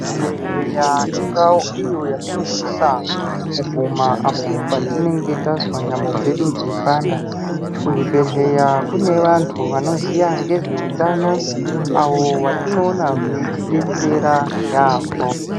Chibhedhlera indau iyo yatinosisa kuguma apo patinenge tazwa nyama dzedu dzeipanda kuzvibhedhleya kune vanthu vanoziya ngezveutano avo vatinoona veitidetsera yaambo.